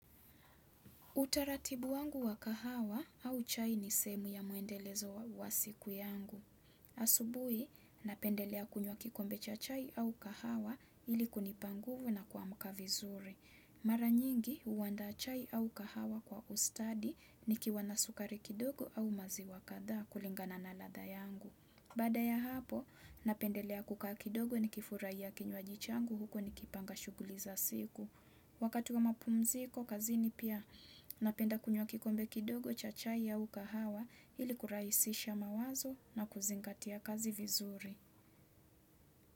Utaratibu wangu wa kahawa au chai ni seemu ya maendelezo wa siku yangu. Asubui, napendelea kunywa kikombecha chai au kahawa ili kunipanguvu na kuamka vizuri. Maranyingi, huandaa chai au kahawa kwa ustadi ni kiwana sukari kidogo au mazi wa kadhaa kulingana na ladha yangu. Baada ya hapo, napendelea kukaa kidogo ni kifurahia kinywa ji changu huko ni kipanga shuguli za siku. Wakati wa mapumziko kazini pia napenda kunywa kikombe kidogo chachai au kahawa ili kurahisisha mawazo na kuzingatia kazi vizuri.